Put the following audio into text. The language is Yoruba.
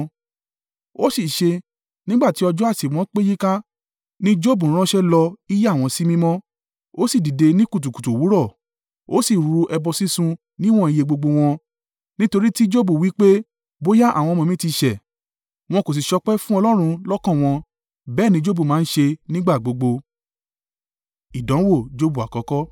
Ó sì ṣe, nígbà tí ọjọ́ àsè wọn pé yíká, ni Jobu ránṣẹ́ lọ í yà wọ́n sí mímọ́, ó sì dìde ní kùtùkùtù òwúrọ̀, ó sì rú ẹbọ sísun níwọ̀n iye gbogbo wọn; nítorí tí Jobu wí pé: bóyá àwọn ọmọ mi ti ṣẹ̀, wọn kò sì ṣọpẹ́ fún Ọlọ́run lọ́kàn wọn. Bẹ́ẹ̀ ní Jobu máa ń ṣe nígbà gbogbo.